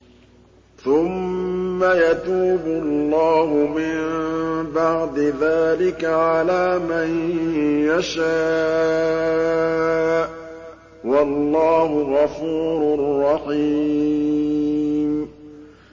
ثُمَّ يَتُوبُ اللَّهُ مِن بَعْدِ ذَٰلِكَ عَلَىٰ مَن يَشَاءُ ۗ وَاللَّهُ غَفُورٌ رَّحِيمٌ